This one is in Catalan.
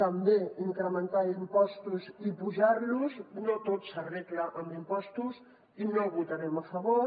també incrementar impostos i apujar los no tot s’arregla amb impostos i no hi votarem a favor